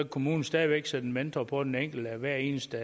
kommunen stadig væk sætte en mentor på den enkelte hver eneste